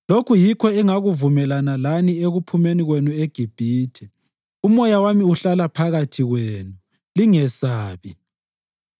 ‘Lokhu yikho engakuvumelana lani ekuphumeni kwenu eGibhithe. UMoya wami uhlala phakathi kwenu. Lingesabi.’